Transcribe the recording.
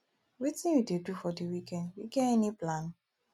wetin you dey do for di weekend you get any plan